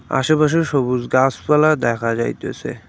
আশেপাশে সবুজ গাছপালা দেখা যাইতাছে।